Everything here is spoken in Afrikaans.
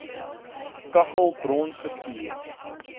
kaggel brons geskuur